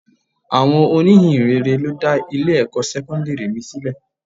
Àwọn oní ìhìnrere ló dá Ilé ẹ̀kọ́ sẹ́kọ́ńdírì mi sílẹ̀.